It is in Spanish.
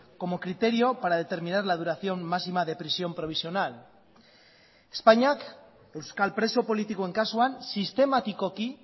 como criterio para determinar la duración máxima de prisión provisional espainiak euskal preso politikoen kasuan sistematikoki